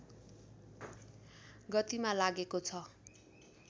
गतिमा लागेको छ